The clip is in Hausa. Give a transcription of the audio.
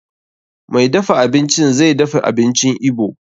Mai dafa abincin zai dafa abincin Igbo.